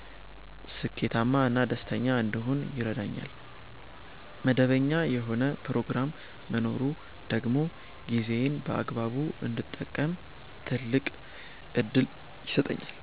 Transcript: ስኬታማ እና ደስተኛ እንድሆን ይረዳኛል። መደበኛ የሆነ ፕሮግራም መኖሩ ደግሞ ጊዜዬን በአግባቡ እንድጠቀም ትልቅ ዕድል ይሰጠኛል።